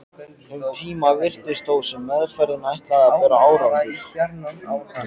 Um tíma virtist þó sem meðferðin ætlaði að bera árangur.